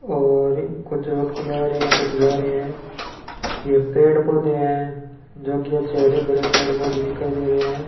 और कुछ व्यक्ति आ रहे हैं कुछ जा रहे हैं यह पेड़ पौधे हैं जो कि अच्छे हरे भरे पेड़ पौधे दिखाई दे रहे हैं।